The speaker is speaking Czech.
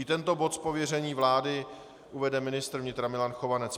I tento bod z pověření vlády uvede ministr vnitra Milan Chovanec.